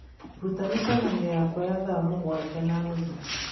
Ruta mĩcemanio yakwa ya thaa mũgwanja na nuthu